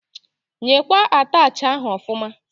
Nyekwa attachị ahụ ọfụma!